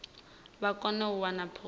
vha kone u wana khophi